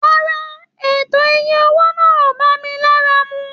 Rárá o, ètò ìyè owó náà o bá mí lára mú.